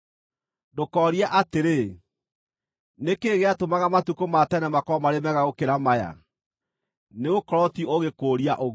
Ndũkoorie atĩrĩ, “Nĩ kĩĩ gĩatũmaga matukũ ma tene makorwo marĩ mega gũkĩra maya?” Nĩgũkorwo ti ũũgĩ kũũria ũguo.